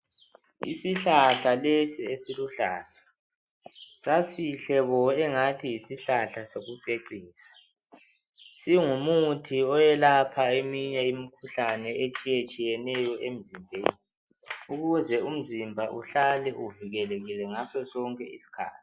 yisihlahla lesi esiluhlahla sasihle bo esengani yisihlahla sokucecisa singumuthi oyelaha eminye imikhuhlane etshiyetshiyeneyo emzimbeni ukuze umzimbe uhlale uvikelekile sonke isikhathi